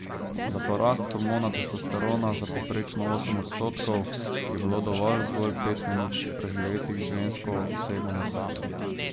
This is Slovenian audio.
Za porast hormona testosterona za povprečno osem odstotkov je bilo dovolj zgolj pet minut, preživetih z žensko osebo na samem.